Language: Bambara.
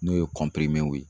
N'o ye ye.